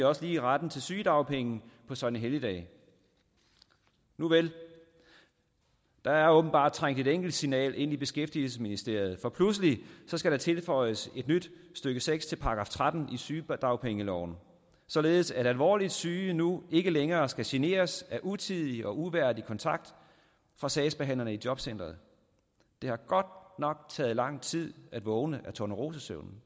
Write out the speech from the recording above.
også lige retten til sygedagpenge på søgnehelligdage nuvel der er åbenbart trængt et enkelt signal ind i beskæftigelsesministeriet for pludselig skal der tilføjes et nyt stykke seks til § tretten i sygedagpengeloven således at alvorligt syge nu ikke længere skal generes af utidig og uværdig kontakt fra sagsbehandlerne i jobcentrene det har godt nok taget lang tid at vågne af tornerosesøvnen